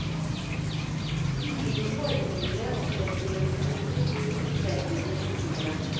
Ulike formgivere og fremstillingsmetoder gir stor spennvidde i motivene.